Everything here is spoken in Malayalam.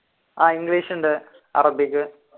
ആഹ് ഇംഗ്ലീഷുണ്ട് അറബിക്